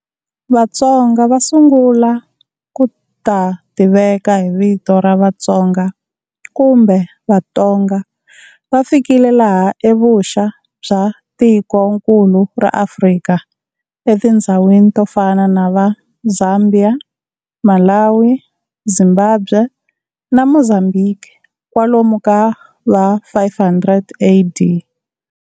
Vatsonga va sungula ku ta tiveka hi vito ra Vatsonga kumbe Vatonga va fikile laha evuxa bya tikonkulu ra Africa etindzhawini to fana na va Zambia, Malawi, Zimbabwe na Mozambique kwalomu ka va 500AD.